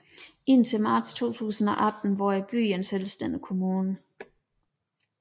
Indtil marts 2018 var byen en selvstændig kommune